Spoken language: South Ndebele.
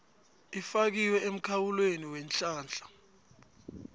ifakiwe emkhawulweni weenhlahla